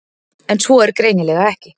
En svo er greinilega ekki.